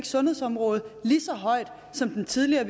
sundhedsområdet lige så højt som den tidligere